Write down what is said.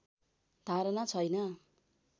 धारणा छैन